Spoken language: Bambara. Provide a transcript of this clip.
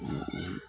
O